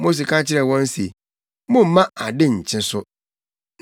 Mose ka kyerɛɛ wɔn se, “Mommma ade nkye so.”